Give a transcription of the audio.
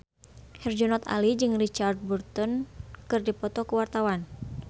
Herjunot Ali jeung Richard Burton keur dipoto ku wartawan